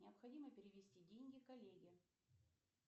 необходимо перевести деньги коллеге